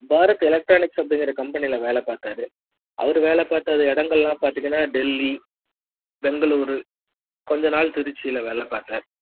Bharat electronics கம்பெனில வேலை பாத்தாரு அவரு வேலை பாத்த எடங்கலாம் பாத்திங்கன்னா டெல்லி பெங்களூரு கொஞ்ச நாள் திருச்சில வேல பாத்தாரு